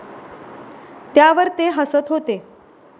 त्यावर ते हसत होते.